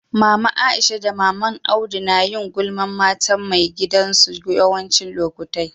Mama Aisha da mama'n Audu na yin gulman matan mai gidan su yawanci lokatai.